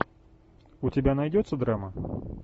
у тебя найдется драма